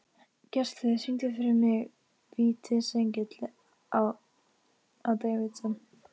Gestheiður, syngdu fyrir mig „Vítisengill á Davidson“.